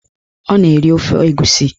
Ọ na-eri ofe egusi